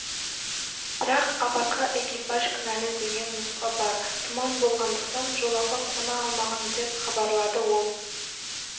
бірақ апатқа экипаж кінәлі деген нұсқа бар тұман болғандықтан жолаққа қона алмаған деп хабарлады ол